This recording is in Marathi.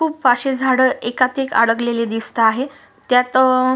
खूप अशी झाड एकातएक अडकलेली दिसता आहे त्यात अ--